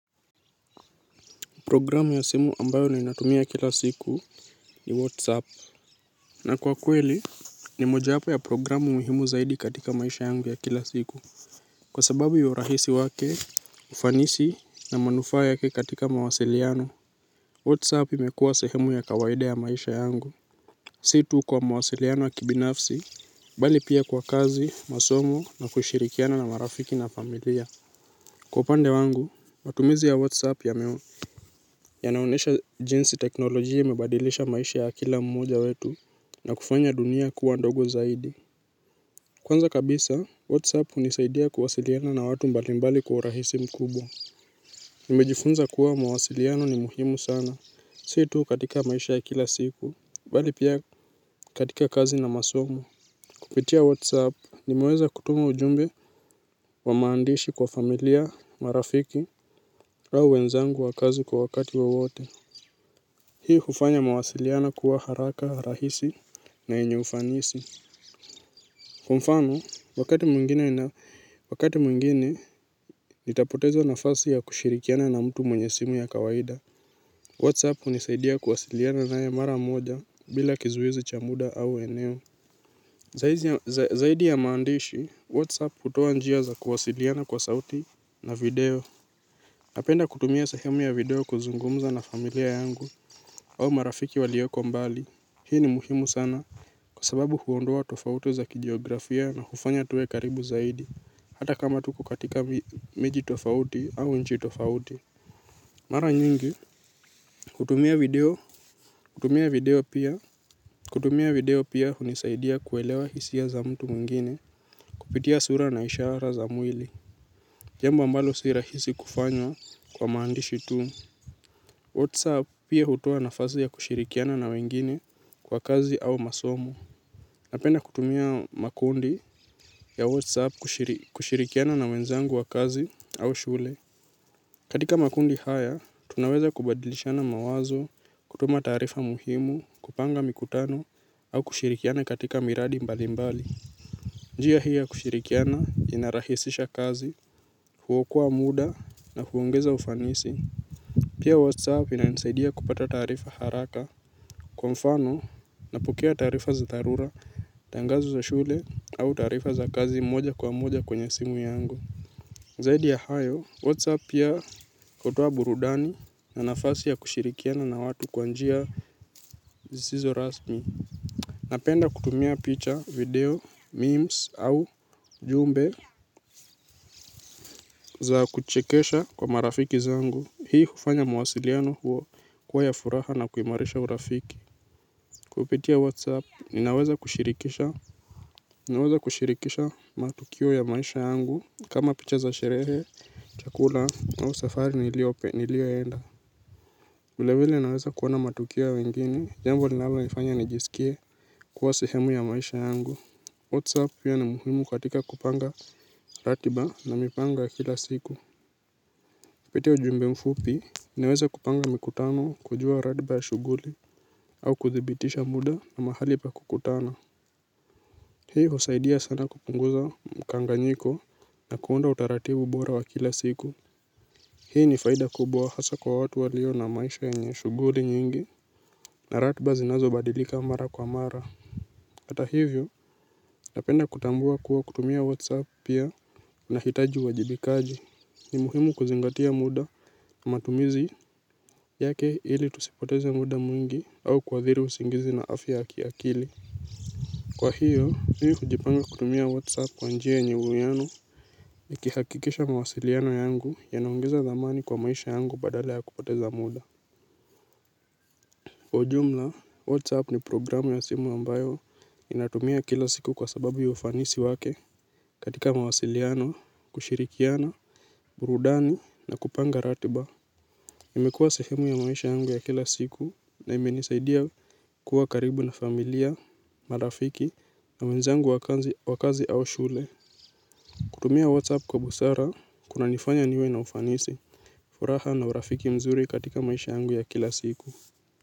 Programu ya simu ambayo ninatumia kila siku ni Whatsapp. Na kwa kweli ni moja wapo ya programu muhimu zaidi katika maisha yangu ya kila siku. Kwa sababu ya urahisi wake ufanisi na manufaa yake katika mawasiliano, Whatsapp imekuwa sehemu ya kawaida ya maisha yangu. Si tu kwa mawasiliano ya kibinafsi, bali pia kwa kazi, masomo na kushirikiana na marafiki na familia. Kwa upande wangu, matumizi ya Whatsapp yame. Yanaonyesha jinsi teknolojia imebadilisha maisha ya kila mmoja wetu na kufanya dunia kuwa ndogo zaidi. Kwanza kabisa, Whatsapp hunisaidia kuwasiliana na watu mbalimbali kwa urahisi mkubwa. Nimejifunza kuwa mawasiliano ni muhimu sana, sii tu katika maisha ya kila siku, bali pia katika kazi na masomo. Kupitia Whatsapp, nimeweza kutuma ujumbe wa maandishi kwa familia marafiki au wenzangu wa kazi kwa wakati wowote. Hii hufanya mawasiliano kuwa haraka rahisi na yenye ufanisi. Kwa mfano, wakati mwingine nina wakati mwingine nitapoteza nafasi ya kushirikiana na mtu mwenye simu ya kawaida. Whatsapp hunisaidia kuwasiliana naye mara moja bila kizuizi cha muda au eneo. Zaidi ya maandishi, Whatsapp hutoa njia za kuwasiliana kwa sauti na video. Napenda kutumia sehemu ya video kuzungumza na familia yangu au marafiki walioko mbali. Hii ni muhimu sana. Kwa sababu huondoa tofauti za kijiografia na hufanya tuwe karibu zaidi. Hata kama tuko katika miji tofauti au nchi tofauti. Mara nyingi hutumia video. Kutumia video pia kutumia video pia hunisaidia kuelewa hisia za mtu mwingine kupitia sura na ishara za mwili jamba ambalo si rahisi kufanywa kwa maandishi tu. Whatsapp pia hutoa nafasi ya kushirikiana na wengine kwa kazi au masomo. Napenda kutumia makundi ya WhatsApp kushirikiana na wenzangu wa kazi au shule. Katika makundi haya, tunaweza kubadilishana mawazo, kutuma taarifa muhimu, kupanga mikutano, au kushirikiana katika miradi mbali mbali. Njia hii ya kushirikiana, inarahisisha kazi, huokoa muda na huongeza ufanisi. Pia WhatsApp inanisaidia kupata taarifa haraka. Kwa mfano, napokea taarifa za dharura, tangazo za shule au taarifa za kazi moja kwa moja kwenye simu yangu. Zaidi ya hayo, Whatsapp pia hutoa burudani na nafasi ya kushirikiana na watu kwa njia zisizo rasmi. Napenda kutumia picha, video, memes au ujumbe za kuchekesha kwa marafiki zangu. Hii hufanya mawasiliano huo kuwa ya furaha na kuimarisha urafiki. Kupitia whatsapp ninaweza kushirikisha ninaweza kushirikisha matukio ya maisha yangu kama picha za sherehe chakula au safari nilioenda muda ingine naweza kuona matukio ya wengine jambo linalonifanya nijisikie kuwa sehemu ya maisha yangu whatsapp pia ni muhimu katika kupanga ratiba na mipango ya kila siku kupitia ujumbe mfupi ninaweza kupanga mikutano kujua ratiba ya shughuli au kuthibitisha muda na mahali pa kukutana. Hii husaidia sana kupunguza mkanganyiko na kuunda utaratibu bora wa kila siku. Hii ni faida kubwa hasa kwa watu walio na maisha yenye shughuli nyingi na ratiba zinazobadilika mara kwa mara. Ata hivyo napenda kutambua kuwa kutumia whatsapp pia nahitaji uwajibikaji. Ni muhimu kuzingatia muda matumizi yake ili tusipoteze muda mwingi au kuadhiri usingizi na afya ya kiakili. Kwa hiyo, mimi hujipanga kutumia Whatsapp kwa njia yenye uwiano nikihakikisha mawasiliano yangu yanaongeza thamani kwa maisha yangu badala ya kupoteza muda. Kwa ujumla, Whatsapp ni programu ya simu ambayo inatumia kila siku kwa sababu ya ufanisi wake. Katika mawasiliano, kushirikiana, burudani na kupanga ratiba. Imekuwa sehemu ya maisha yangu ya kila siku na imenisaidia kuwa karibu na familia, marafiki na wenzangu wa kazi au wa kazi au shule. Kutumia WhatsApp kwa busara kunanifanya niwe na ufanisi. Furaha na urafiki mzuri katika maisha yangu ya kila siku.